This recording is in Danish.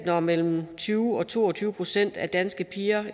når mellem tyve og to og tyve procent af danske piger